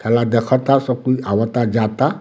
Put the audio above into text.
खेला देखता सब कोई आवता जाता।